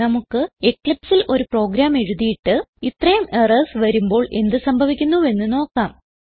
നമുക്ക് Eclipseൽ ഒരു പ്രോഗ്രാം എഴുതിയിട്ട് ഇത്രേം എറർസ് വരുമ്പോൾ എന്ത് സംഭവിക്കുന്നുവെന്ന് നോക്കാം